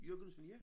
Jørgensen ja